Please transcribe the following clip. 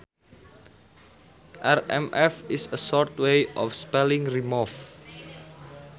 Rmv is a short way of spelling remove